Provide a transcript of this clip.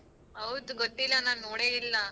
ಹೌದ್ ಗೊತ್ತಿಲ್ಲ ನಾನ್ ನೋಡೇ ಇಲ್ಲ.